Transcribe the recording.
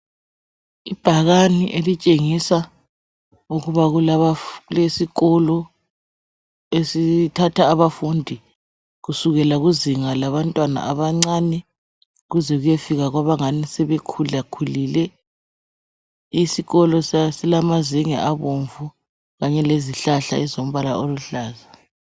Ibhakane elishengisa ukuba kulesikolo esithatha abafundi kusukela kuzinga labantwana abancane kuze kuyefika kwabanganisebekhulakhulile isikolo silamazenge abomvu kanye lezihlahla ezilombala oluhlaza.